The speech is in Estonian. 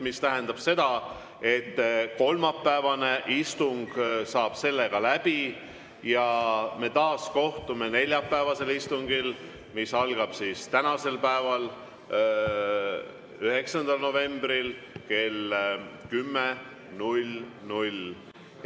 See tähendab seda, et kolmapäevane istung saab sellega läbi ja me kohtume taas neljapäevasel istungil, mis algab täna, 9. novembril kell 10.00.